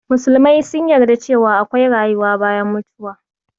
Musulmai sun yarda cewa akwai rayuwa bayan mutuwa